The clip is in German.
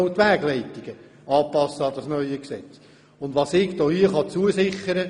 Herr Grossrat Freudiger, ich kann hier Folgendes zusichern: